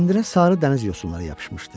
Kəndirə sarı dəniz yosunları yapışmışdı.